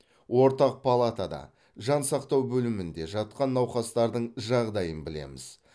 ортақ палатада жан сақтау бөлімінде жатқан науқастардың жағдайын білеміз